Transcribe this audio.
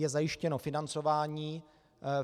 Je zajištěno financování.